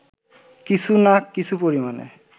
কিছু না কিছু পরিমাণে